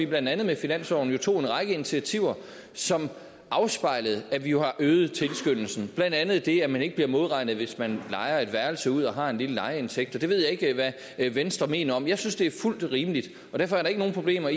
blandt andet finansloven tog en række initiativer som afspejlede at vi jo har øget tilskyndelsen blandt andet det at man ikke bliver modregnet hvis man lejer et værelse ud og har en lille lejeindtægt jeg ved ikke hvad venstre mener om jeg synes det er fuldt rimeligt og derfor er der ikke nogen problemer